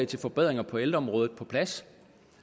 til forbedringer på ældreområdet på plads